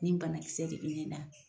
Nin banakisɛ de be ne la